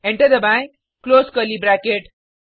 enter दबाएँ close curly bracket